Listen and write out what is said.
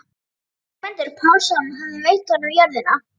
Ögmundur Pálsson hafði veitt honum jörðina.